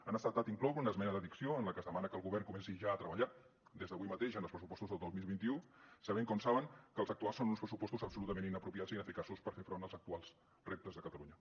ha estat inclosa una esmena d’addició en la que es demana que el govern comenci ja a treballar des d’avui mateix en els pressupostos del dos mil vint u sabent com saben que els actuals són uns pressupostos absolutament inapropiats i ineficaços per fer front als actuals reptes de catalunya